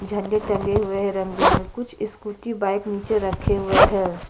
झंडे टंगे हुए है रंग-बिरंगे कुछ स्कूटी बाइक निचे रखे हुए है।